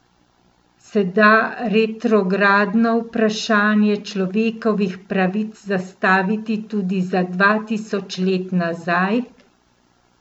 Se da retrogradno vprašanje človekovih pravic zastaviti tudi za dva tisoč let nazaj?